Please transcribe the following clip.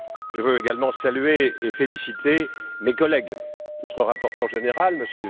Je veux également saluer et féliciter mes collègues, notre rapporteur général, M.